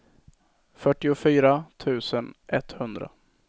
fyrtiofyra tusen etthundra